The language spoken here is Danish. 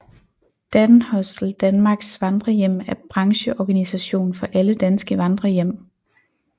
Danhostel Danmarks vandrerhjem er brancheorganisation for alle danske vandrerhjem